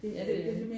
Ja det er det